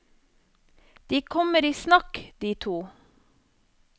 De kommer i snakk, de to.